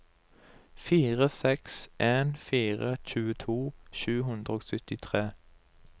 fire seks en fire tjueto sju hundre og syttitre